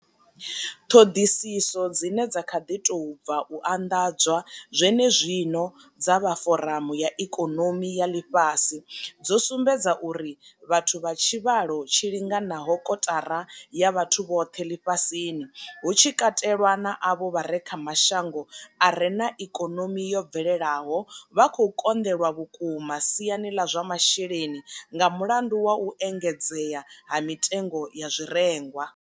Ṱhoḓisiso dzine dza kha ḓi tou bva u anḓadzwa zwenezwino dza vha Foramu ya ikonomi ya Ḽifhasi dzo sumbedza uri vhathu vha tshivhalo tshi linganaho kotara ya vhathu vhoṱhe ḽifhasini, hu tshi katelwa na avho vha re kha mashango a re na ikonomi yo bvelelaho, vha khou konḓelwa vhukuma siani ḽa zwa masheleni nga mulandu wa u engedzea ha mitengo ya zwirengwa.